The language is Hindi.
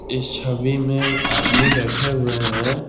इस छवि में आदमी बैठे हुए हैं।